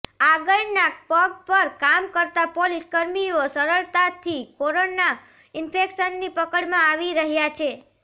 આગળના પગ પર કામ કરતા પોલીસ કર્મીઓ સરળતાથી કોરોના ઇન્ફેક્શનની પકડમાં આવી રહ્યા છે